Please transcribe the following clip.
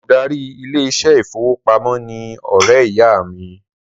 The bank manager is my friend's mother